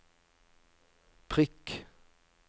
prikk